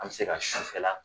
An mi se ka sufɛla